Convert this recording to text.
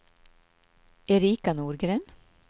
Erika Norgren